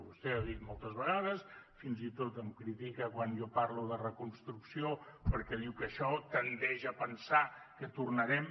vostè ho ha dit moltes vegades fins i tot em critica quan jo parlo de reconstrucció perquè diu que això tendeix a fer pensar que tornarem